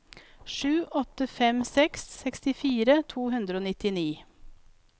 sju åtte fem seks sekstifire to hundre og nittini